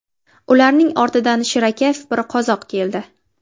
Ularning ortidan shirakayf bir qozoq keldi.